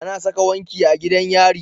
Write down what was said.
Ana Saka wanki a gidan yari